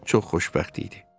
Çox xoşbəxt idi.